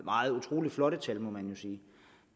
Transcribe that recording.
utrolig flotte tal